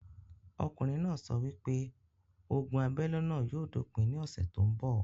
Okùnrin náà sọ wípé ogun abélé náà yóò dópin ní ọ̀sẹ̀ tó ń bọ̀